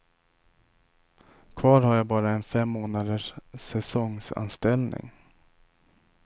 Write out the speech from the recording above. Kvar har jag bara en fem månaders säsongsanställning.